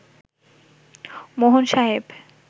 মোহন সাহেব